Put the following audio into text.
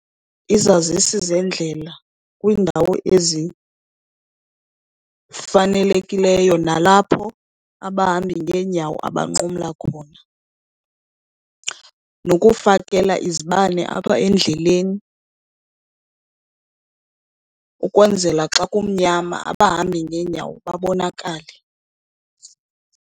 Izazisi zendlela kwiindawo ezifanelekileyo nalapho abahambi ngeenyawo abanqumla khona. Nokufakela izibane apha endleleni ukwenzela xa kumnyama abahambi ngeenyawo babonakale.